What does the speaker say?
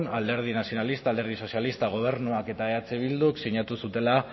alderdi nazionalistak alderdi sozialistak gobernuak eta eh bilduk sinatu zutela